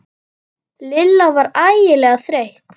Lilla var ægilega þreytt.